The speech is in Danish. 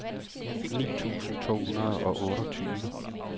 ni tusind to hundrede og otteogtyve